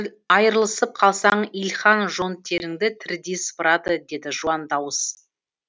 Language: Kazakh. айырылысып қалсаң илхан жон теріңді тірідей сыпырады деді жуан дауыс